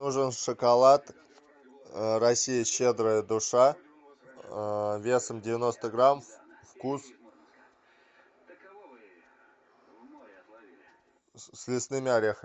нужен шоколад россия щедрая душа весом девяносто грамм вкус с лесными орехами